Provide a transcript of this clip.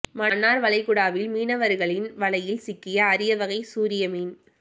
மன்னார் வளைகுடாவில் மீனவர்களின் வலையில் சிக்கிய அரிய வகை சூரிய மீன்